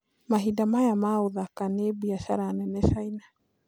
Mahinda maya ma ũthakanĩ biashara nene caina